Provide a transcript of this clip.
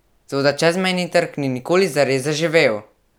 Toda čezmejni trg ni nikoli zares zaživel!